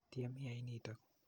Tyem iyai nitok.